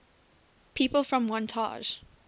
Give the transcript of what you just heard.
people from wantage